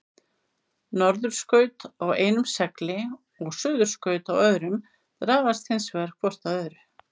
Norðurskaut á einum segli og suðurskaut á öðrum dragast hins vegar hvort að öðru.